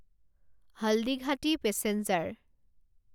Haldighati passenger